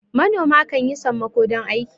manoma kan yi sammako don aiki